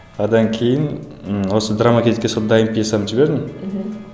одан кейін і осы драма кейзетке сол дайын пьесамды жібердім мхм